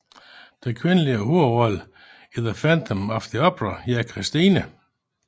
Den kvindelige hovedrolle i The Phantom of the Opera hedder Christine